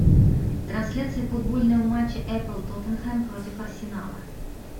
трансляция футбольного матча апл тоттенхэм против арсенала